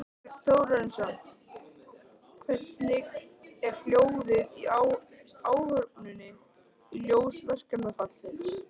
Þorbjörn Þórðarson: Hvernig er hljóðið í áhöfninni í ljósi verkfallsins?